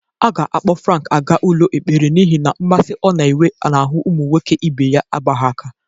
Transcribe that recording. A ga-akpọ Frank aga ụlọ ekpere n'ihe na mmasị ọ na-enwe n'ahụ ụmụ nwoke ibe ya agbaghị aka.